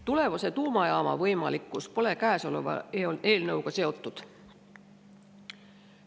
Tulevase tuumajaama võimalikkus pole käesoleva eelnõuga seotud.